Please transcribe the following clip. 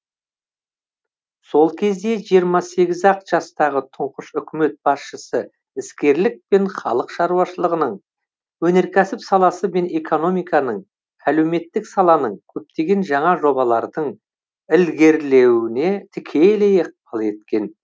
сол кезде жиырма сегіз ақ жастағы тұңғыш үкімет басшысы іскерлікпен халық шаруашылығының өнеркәсіп саласы мен экономиканың әлеуметтік саланың көптеген жаңа жобалардың ілгерлеуіне тікелей ықпал еткен